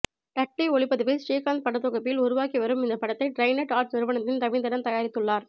டட்லி ஒளிப்பதிவில் ஸ்ரீகாந்த் படத்தொகுப்பில் உருவாகி வரும் இந்த படத்தை டிரைடெண்ட் ஆர்ட்ஸ் நிறுவனத்தின் ரவீந்திரன் தயாரித்துள்ளார்